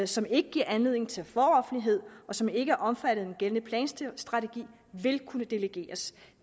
som ikke giver anledning til foroffentlighed og som ikke er omfattet af den gældende planstrategi vil kunne delegeres